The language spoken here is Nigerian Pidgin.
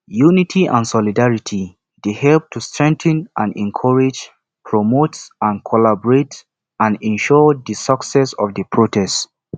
unity and solidarity dey help to strengthen and encourage promote and collaborate and ensure di success of di protest